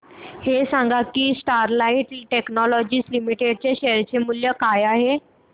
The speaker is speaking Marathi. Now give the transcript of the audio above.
हे सांगा की स्टरलाइट टेक्नोलॉजीज लिमिटेड चे शेअर मूल्य काय आहे